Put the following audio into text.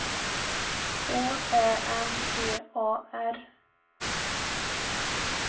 K Ä M P A R